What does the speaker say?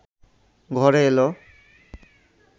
ঘরে এল